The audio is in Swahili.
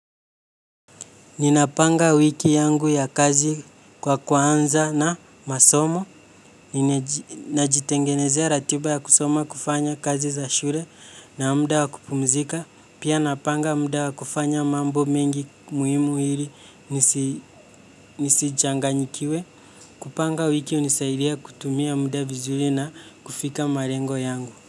Ninapanga wiki yangu ya kazi kwa kuanza na masomo, najitengenezea ratiba ya kusoma kufanya kazi za shule na muda wa kupumzika. Pia napanga muda wa kufanya mambo mengi muhimu ili nisi changanyikiwe. Kupanga wiki hunisaidia kutumia muda vizuri na kufika malengo yangu.